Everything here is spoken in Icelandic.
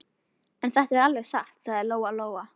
En þetta er alveg satt, sagði Lóa Lóa.